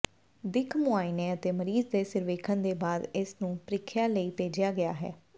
ਦਿੱਖ ਮੁਆਇਨੇ ਅਤੇ ਮਰੀਜ਼ ਦੇ ਸਰਵੇਖਣ ਦੇ ਬਾਅਦ ਇਸ ਨੂੰ ਪ੍ਰੀਖਿਆ ਲਈ ਭੇਜਿਆ ਗਿਆ ਹੈ